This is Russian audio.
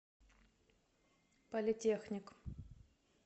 политехник